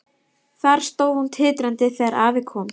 Þar stóð hún titrandi þegar afi kom.